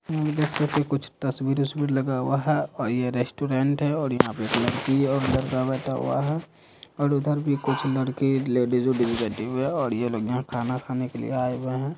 कुछ तस्वीर वस्वीर लगा हुवा है और ये रेस्टोरेंट है और यहाँ पर एक लड़की और लड़का बेठा हुआ हैं और उधर भी कुछ लड़के एक लेडिज बेठी हुए है और ये लोग यहाँ खाना खाने के लिए आये हुए हैं।